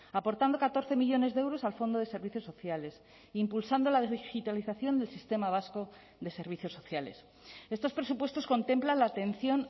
aportando catorce millónes de euros al fondo de servicios sociales impulsando la digitalización del sistema vasco de servicios sociales estos presupuestos contemplan la atención